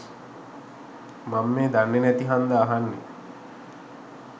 මං මේ දන්නෙ නැති හංදා අහන්නේ